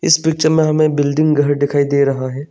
इस पिक्चर में हमें बिल्डिंग घर दिखाई दे रहा है।